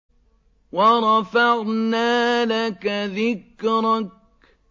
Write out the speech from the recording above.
وَرَفَعْنَا لَكَ ذِكْرَكَ